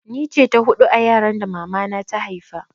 Ni ce ta hudu a yaran da mama na ta haifa